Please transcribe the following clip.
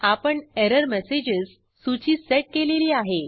आपण एरर्मस्ग्ज सूची सेट केलेली आहे